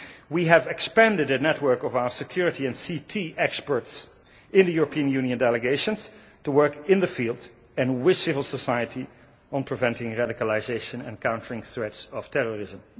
We have expended the network of our security and CT experts in the European Union delegations to work in the field and with civil society on preventing radicalisation and countering threats of terrorism.